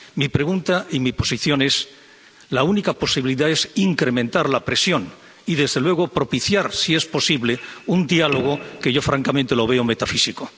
Mi pregunta y mi posición es la única posibilidad es incrementar la presión y, desde luego, propiciar, si es posible, un diálogo, que yo francamente veo metafísico.